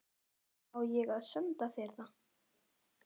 Á ég að senda þér það?